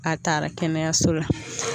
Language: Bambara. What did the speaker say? A taara kɛnɛyaso la